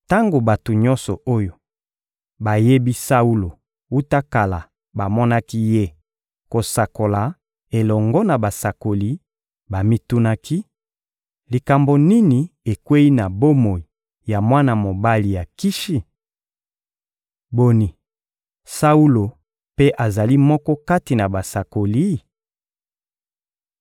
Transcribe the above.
Tango bato nyonso oyo bayebi Saulo wuta kala bamonaki ye kosakola elongo na basakoli bamitunaki: «Likambo nini ekweyi na bomoi ya mwana mobali ya Kishi? Boni, Saulo mpe azali moko kati na basakoli?»